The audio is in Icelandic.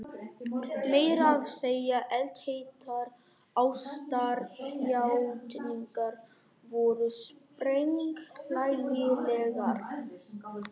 Meira að segja eldheitar ástarjátningar voru sprenghlægilegar.